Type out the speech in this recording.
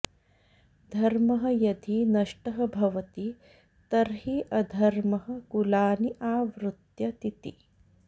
धर्मः यदि नष्टः भवति तर्हि अधर्मः कुलानि आवृत्य तिति